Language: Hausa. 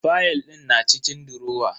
Fayal din na cikin durowa.